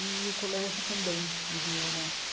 E o colégio também ele era.